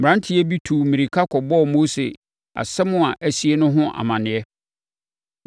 Mmeranteɛ bi tuu mmirika kɔbɔɔ Mose asɛm a asie no ho amaneɛ